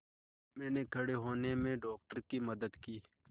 मैंने खड़े होने में डॉक्टर की मदद की